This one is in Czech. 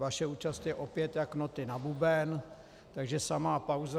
Vaše účast je opět jak noty na buben, takže samá pauza.